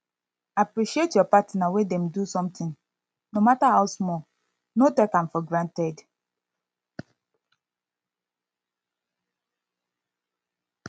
appreciate your partner when dem do something no matter how small no take am for granted